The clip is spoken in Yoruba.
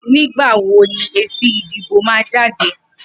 Nigbà wó ni ésí idibó mà jàdé?